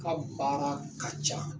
Ka baara ka ca